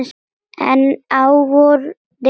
En á vorin kann